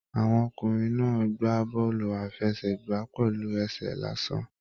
Àwọn ọkùnrin náà n gbà bọọlu àfẹ́sẹ̀gbà pẹlú ẹsẹ lásán.